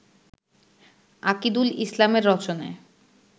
আকিদুল ইসলামের রচনায়